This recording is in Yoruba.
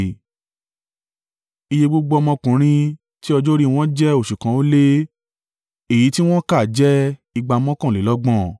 Iye gbogbo ọmọkùnrin tí ọjọ́ orí wọ́n jẹ́ oṣù kan ó lé, èyí tí wọ́n kà jẹ́ igba mọ́kànlélọ́gbọ̀n (6,200).